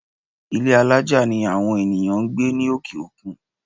Ilé́ alájà ni àwọn ènìyàn ń gbé ní òkè-òkun.